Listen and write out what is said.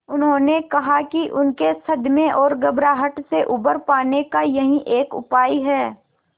उन्होंने कहा कि उनके सदमे और घबराहट से उबर पाने का यही एक उपाय है